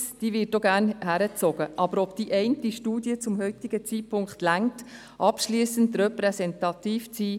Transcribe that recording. Es ist jedoch fraglich, ob diese eine Studie zum jetzigen Zeitpunkt ausreicht, um abschliessend repräsentativ zu sein.